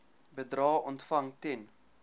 bedrae ontvang ten